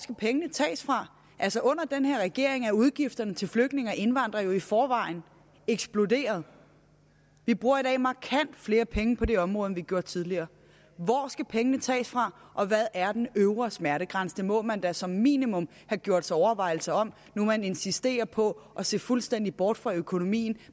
skal pengene tages fra altså under den her regering er udgifterne til flygtninge og indvandrere jo i forvejen eksploderet vi bruger i dag markant flere penge på det område end vi gjorde tidligere hvor skal pengene tages fra og hvad er den øvre smertegrænse det må man da som minimum have gjort sig overvejelser om nu man insisterer på at se fuldstændig bort fra økonomien